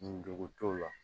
Ndogo t'o la